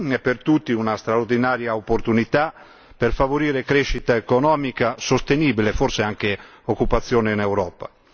È per tutti una straordinaria opportunità per favorire una crescita economica sostenibile e forse anche l'occupazione in Europa.